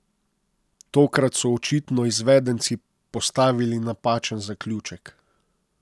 Tokrat so očitno izvedenci postavili napačen zaključek.